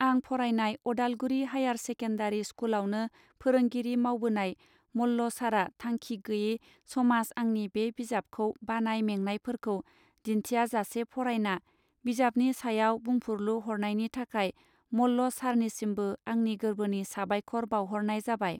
आं फरायनाय Udalguri higher secondary स्कुलावनो फोरोंगिरि मावबोनाय मल्ल सारा थांखि गैये समाज आंनि बे बिजाबखौ बानाय मेंनायफोरखौ दिन्थियाजासे फरायना बिजाबनि सायाव बुंफोरलु हरनायनि थाखाय मल्ल सारनिसिमबो आंनि गोर्बोनि साबायखर बावहरनाय जाबाय.